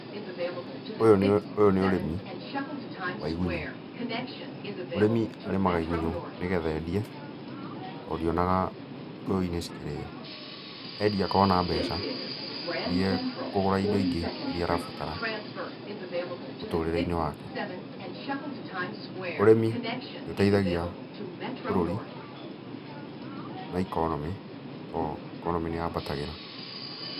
Ũyũ nĩ, ũyũ nĩ ũrĩmi, wa igunyũ. Mũrĩmi arĩmaga igunyũ nĩgetha endie, tondũ ndionaga Gĩkũyu-inĩ cikĩrĩo. Endia akona mbeca, iria ekũgũra indo ingĩ iria arabatara, mũtũrĩre-inĩ wake. Ũrĩmi nĩũteithagia bũrũri na economy tondũ economy nĩyambatagĩra.